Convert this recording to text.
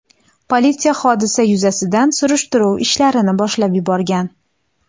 Politsiya hodisa yuzasidan surishtiruv ishlarini boshlab yuborgan.